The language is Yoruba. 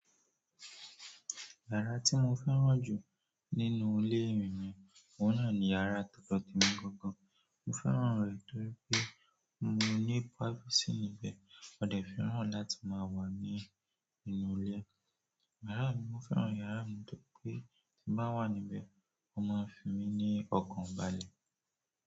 Yàrá tí mo fẹ́ràn jù nínú ilé mi ni, òun náà ni yàrá todo temi gangan. Mo fẹ́ràn rẹ̀ torí pé mo ní privacy níbẹ̀, ọdẹ fẹ́ràn láti máa wà ní inú ilé. Yàrá mi, mo fẹ́ràn yàrá mi torí pé tí mo wà níbẹ̀, ó máa ń fi mí ní ọkàn balẹ̀.